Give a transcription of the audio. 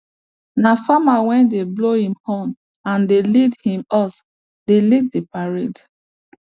na farmer wey dey blow him horn and dey lead him ox dey lead the parade